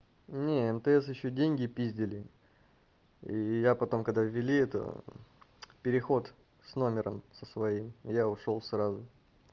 не мтс ещё деньги пиздили и я потом когда ввели это мм переход с номером со своим я ушёл сразу